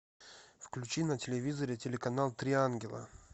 включи на телевизоре телеканал три ангела